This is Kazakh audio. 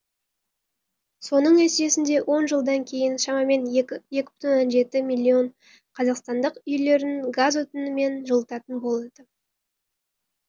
соның нәтижесінде он жылдан кейін шамамен екі бүтін оннан жеті миллион қазақстандық үйлерін газ отынымен жылытатын болады